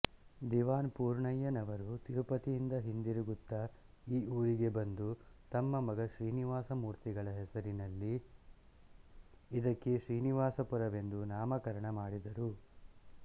ದಿವಾನ್ ಪೂರ್ಣಯ್ಯನವರು ತಿರುಪತಿಯಿಂದ ಹಿಂದಿರುಗುತ್ತ ಈ ಊರಿಗೆ ಬಂದು ತಮ್ಮ ಮಗ ಶ್ರೀನಿವಾಸಮೂರ್ತಿಗಳ ಹೆಸರಿನಲ್ಲಿ ಇದಕ್ಕೆ ಶ್ರೀನಿವಾಸಪುರವೆಂದು ನಾಮಕರಣ ಮಾಡಿದರು